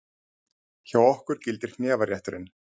Hjá okkur gildir hnefarétturinn!